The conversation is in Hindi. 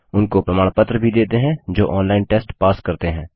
उनको प्रमाण पत्र भी देते हैं जो ऑनलाइन टेस्ट पास करते हैं